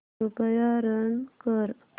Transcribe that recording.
कृपया रन कर